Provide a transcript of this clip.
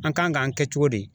An kan k'an kɛ cogo di?